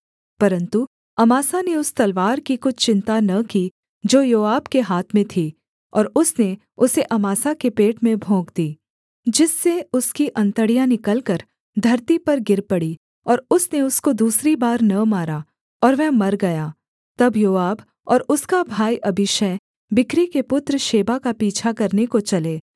परन्तु अमासा ने उस तलवार की कुछ चिन्ता न की जो योआब के हाथ में थी और उसने उसे अमासा के पेट में भोंक दी जिससे उसकी अंतड़ियाँ निकलकर धरती पर गिर पड़ीं और उसने उसको दूसरी बार न मारा और वह मर गया तब योआब और उसका भाई अबीशै बिक्री के पुत्र शेबा का पीछा करने को चले